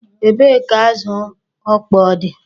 Ebee ka azụ ọkpọọ dị?